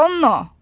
Rono!